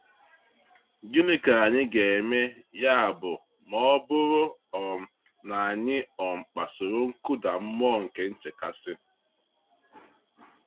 Gịnị ka anyị ga-eme, ya bụ, ma ọ bụrụ um na anyị um kpasuru nkụda mmụọ nke nchekasị?